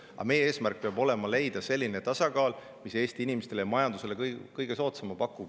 Aga meie eesmärk peab olema leida selline tasakaal, mis pakub Eesti inimestele ja majandusele kõige soodsama.